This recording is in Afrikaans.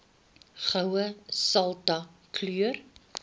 goue sultana keur